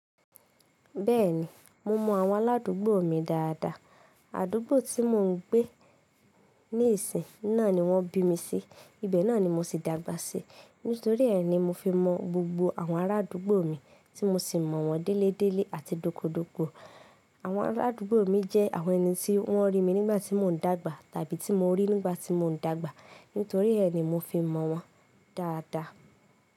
Bẹ́ẹ̀ni, mo mọ àwọn aládùúgbò mi dáadáa. Àdúgbò tí mò ń gbé níìsín náà ni wọ́n bí mi sí, ibẹ̀ náà ni mo sì dàgbà sí. Nítorí ẹ́ ni mo fi mọ gbogbo àwọn arádúgbò mi, tí mo sì mọ̀ wọ́n déledéle àti dókodóko. Àwọn arádúgbò mi jẹ́ àwọn ẹni tí wọ́n rí mi nígbà tí mò ń dàgbà tàbí tí mo rí nígbà tí mò ń dàgbà. Nítorí ẹ́ ni mo fi mọ̀ wọ́n dáadáa.